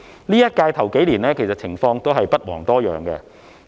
本屆首數年的情況也不遑多讓。